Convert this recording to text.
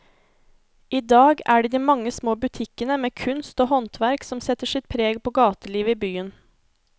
I dag er det de mange små butikkene med kunst og håndverk som setter sitt preg på gatelivet i byen.